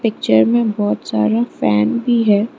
में बहुत सारे फैन भी है।